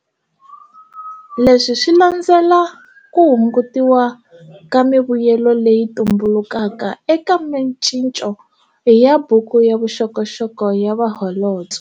Leswi swi landzela ku hungutiwa ka mivuyelo leyi tumbulukaka eka micinco ya buku ya vuxokoxoko ya vaholobye.